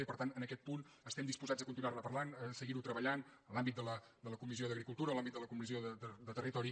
i per tant en aquest punt estem disposats a continuar·ne parlant a seguir·ho treballant en l’àmbit de la comissió d’agri·cultura o en l’àmbit de la comissió de territori